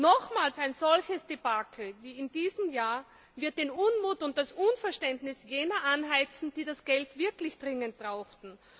Nochmals ein solches Debakel wie in diesem Jahr wird den Unmut und das Unverständnis jener anheizen, die das Geld wirklich dringend brauchten.